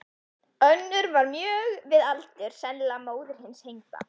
Önnur var mjög við aldur, sennilega móðir hins hengda.